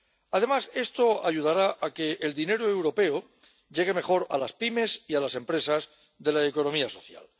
Además, esto ayudará a que el dinero europeo llegue mejor a las pymes y a las empresas de la economía social.